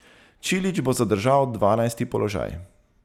Čilić bo zadržal dvanajsti položaj.